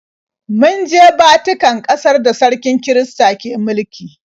Mun je Vatican, ƙasar da sarkin kirista ke mulki.